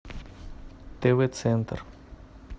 тв центр